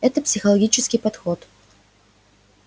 это психологический подход